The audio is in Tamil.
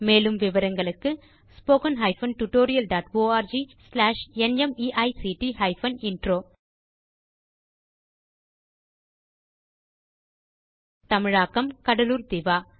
மேலும் விவரங்களுக்கு spoken hyphen tutorial dot org slash NMEICT hyphen intro தமிழாக்கம் கடலூர் திவா